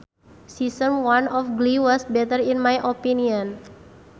Season one of glee was better in my opinion